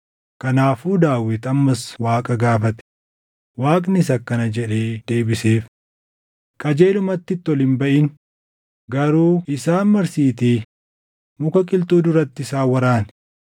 kanaafuu Daawit ammas Waaqa gaafate; Waaqnis akkana jedhee deebiseef; “Qajeelumatti itti ol hin baʼin; garuu isaan marsiitii muka qilxuu duratti isaan waraani.